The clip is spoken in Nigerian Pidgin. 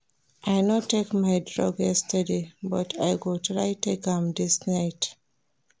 I no take my drug yesterday but I go try take am dis night